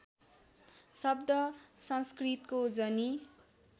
शब्द संस्कृतको जनि